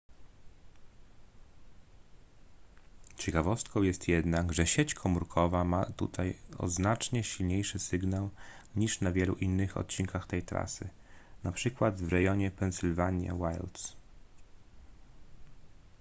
ciekawostką jest jednak że sieć komórkowa ma tutaj o znacznie silniejszy sygnał niż na wielu innych odcinkach tej trasy np w regionie pennsylvania wilds